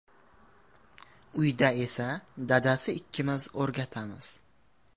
Uyda esa dadasi ikkimiz o‘rgatamiz.